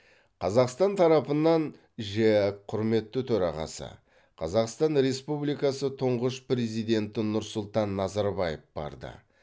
қазақстан тарапынан жеэк құрметті төрағасы қазақстан республикасы тұңғыш президенті нұрсұлтан назарбаев барды